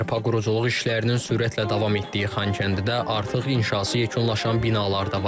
Bərpa quruculuq işlərinin sürətlə davam etdiyi Xankəndidə artıq inşası yekunlaşan binalar da var.